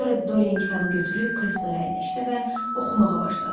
Sonra Dorian kitabı götürüb kresloya əyləşdi və oxumağa başladı.